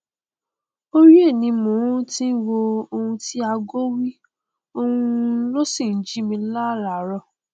orí rẹ ni mo ti ń wò oun tí ago wí òun sì ló ń jí mi láràárọ